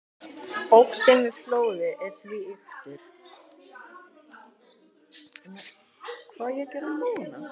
Óttinn við flóðið er því ýktur.